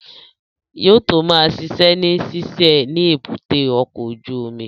Yóò tó ma ṣiṣẹ́ ní ṣíṣe ni èbúté ọkọ̀ ojú omi